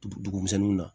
Dugu misɛnninw na